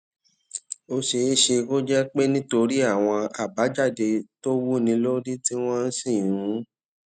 ó ṣeé ṣe kó jé pé nítorí àwọn àbájáde tó wúni lórí tí wón sì ń